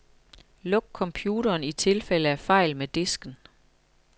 Luk computeren i tilfælde af fejl med disken.